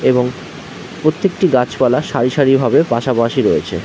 এবং প্রত্যেকটি গাছপালা সারি সারি ভাবে পাশাপাশি রয়েছে--